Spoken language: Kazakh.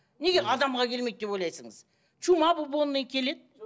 неге адамға келмейді деп чума келеді